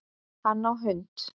Hann á hund